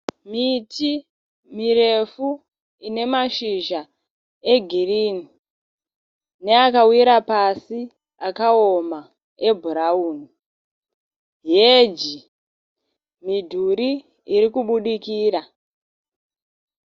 Miti mirefu ine mashizha egirinhi neakawira pasi akaoma ebhurauni, heji midhuri iri kubhudikira.